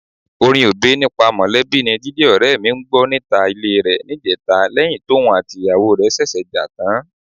Orin Obey nípa mọ̀lẹ́bí ni Jídé ọ̀rẹ́ mi ń gbọ́ níta ilé rẹ̀ níjẹta lẹ́yìn tóun àtìyàwó ṣẹ̀ṣẹ̀ jà tán.